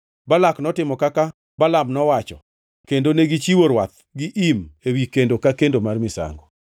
Balak notimo kaka Balaam nowacho, kendo negichiwo rwath gi im ewi kendo ka kendo mar misango.